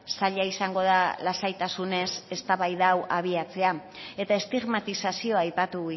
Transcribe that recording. zaila izango da lasaitasunez eztabaida hau abiatzea eta estigmatizazioa aipatu